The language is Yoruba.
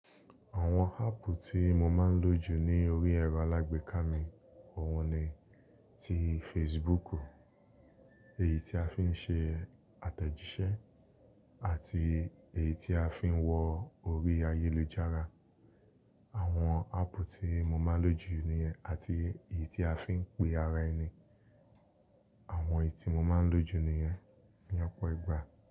Àwọn áàpù tí mo máa ń lò jù ní orí ẹ̀rọ alágbèéká mi, òun ni ti Facebook, èyí tí a fi ń ṣe àtẹ̀jíṣẹ́ àti èyí tí a fi ń wo orí ayélujára. Àwọn áàpù tí mo máa ń lò jù nìyẹn àti èyí tí a fi ń pe ara ẹni. Àwọn èyí tí mo máa ń lò jù nìyẹn ní ọ̀pọ̀ ìgbà.